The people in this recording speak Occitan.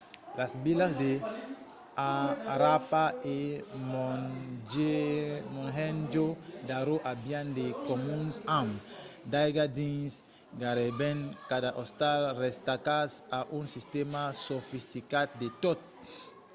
las vilas de harappa e mohenjo-daro avián de comuns amb d'aiga dins gaireben cada ostal restacats a un sistèma sofisticat de toat